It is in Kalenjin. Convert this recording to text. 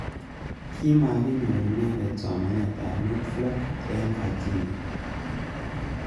Kimwa kinyor inendet somanet ab Norfolk eng Virginia.